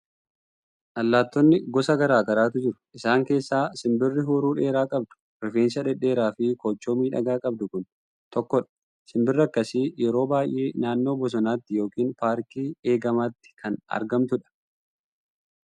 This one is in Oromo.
Allaattonni gosa garaa garaatu jiru. Isaan keessaa simbirri huuruu dheeraa qabdu, rifeensa dhedheeraa fi koochoo miidhagaa qabdu kun tokkodha. Simbirri akkasii yeroon baay'ee naannoo bosonaatti yookiin paarkii eegamaatti kan argamtudha.